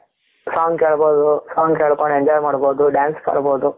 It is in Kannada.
Song ಕೇಳಬಹುದು song ಕೇಳ್ಕೊಂಡ್ enjoy ಮಾಡಬಹುದು dance ಆಡಬಹುದು